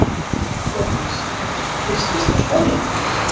Þórdís: Hristist þá skálinn?